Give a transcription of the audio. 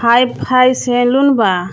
Hi-fi salon बा.